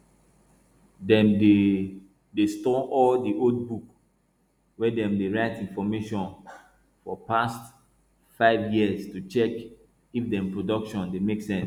dem dey dey store all di old book wey dem dey write information for past 5 years to check if dem production dey make sense